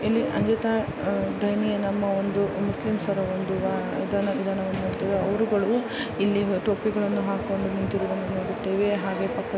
ಅಂಜುತಾ ಡೈರಿ ನಮ್ಮ ಒಂದು ಮುಸ್ಲಿಂಸರ ಒಂದು ಅಹ್ ಅದನ ವಿಧಾನವನ್ನು ನೋಡುತ್ತೇವೆ ಅವರುಗಳು ಇಲ್ಲಿ ಟೋಪಿಗಳನ್ನು ಹಾಕಿಕೊಂಡು ನಿಂತಿರುವುದನ್ನು ನೋಡಿದ್ದೇವೆ ಹಾಗೆ ಪಕ್ಕ --